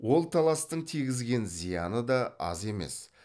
ол таластың тигізген зияны да аз емес